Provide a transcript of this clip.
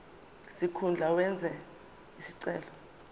sikhundla owenze isicelo